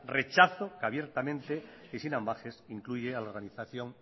rechazo que abiertamente y sin ambages incluye a la organización